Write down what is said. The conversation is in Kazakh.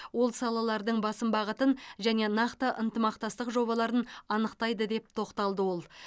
ол салалардың басым бағытын және нақты ынтымақтастық жобаларын анықтайды деп тоқталды ол